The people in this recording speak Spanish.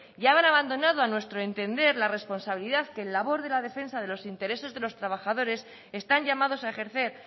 han abandonado a nuestro entender la responsabilidad que en labor de la defensa de los intereses de los trabajadores están llamados a ejercer